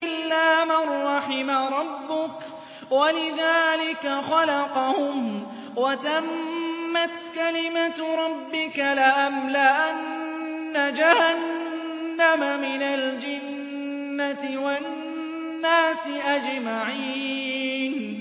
إِلَّا مَن رَّحِمَ رَبُّكَ ۚ وَلِذَٰلِكَ خَلَقَهُمْ ۗ وَتَمَّتْ كَلِمَةُ رَبِّكَ لَأَمْلَأَنَّ جَهَنَّمَ مِنَ الْجِنَّةِ وَالنَّاسِ أَجْمَعِينَ